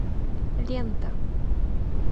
лента